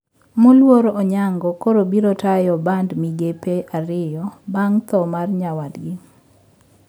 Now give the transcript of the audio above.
Moluor Onyango koro biro tayo bad migepe ariyo bang` tho mar nyawadgi